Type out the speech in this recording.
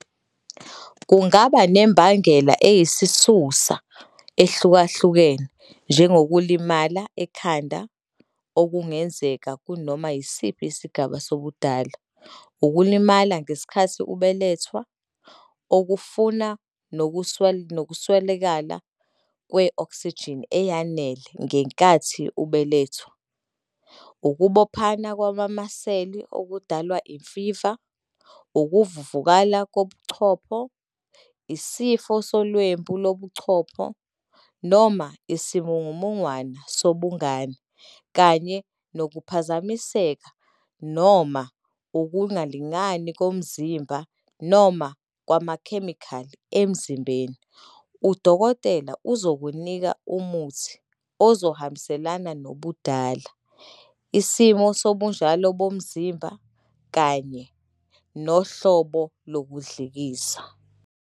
Kungaba nembangela eyisisusa ehlukahlukene njengokulimala ekhanda, okungenzeka kunoma yisiphi isigaba sobudala, ukulimala ngesikhathi ubelethwa, okufana nokuswelakala kwe-oksijini eyanele ngenkathi ubelethwa, ukubophana kwamamasela okudalwa imfiva, ukuvuvukala kobuchopho, isifo solwembu lobuchopho noma isimungumungwana sobungane, kanye nokuphazamiseka noma ukungalingani komzimba noma kwamakhemikhali emzimbeni. Udokotela uzokunika umuthi ozohambiselana nobudala, isimo sobunjalo bomzimba kanye nohlobo lokudlikiza.